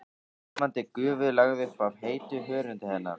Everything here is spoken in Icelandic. Ilmandi gufu lagði upp af heitu hörundi hennar.